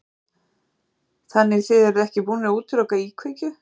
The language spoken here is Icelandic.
Þorbjörn: Þannig þið eruð ekki búnir að útiloka íkveikju?